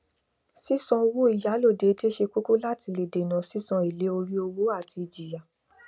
sísan owó ìyálò déédé ṣe kóko láti lè dèná sísan èlé orí owó àti ìjìyà